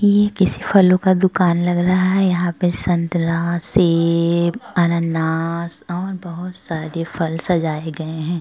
ये किसी फलों का दुकान लग रहा है। यहां पे संतरा सेब अन्नानास और बहोत सारी फल सजाए गए हैं।